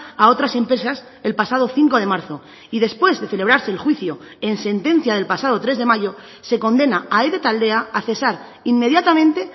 a otras empresas el pasado cinco de marzo y después de celebrarse el juicio en sentencia del pasado tres de mayo se condena a ede taldea a cesar inmediatamente